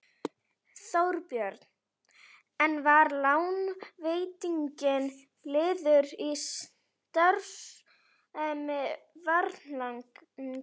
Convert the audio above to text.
Þorbjörn: En var lánveitingin liður í starfsemi Varnagla?